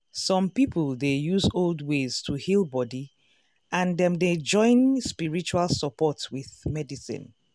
some people dey use old ways to heal body and dem dey join spiritual support with medicine.